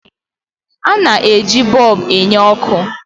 A na-eji bọlbụ na-enye ọkụ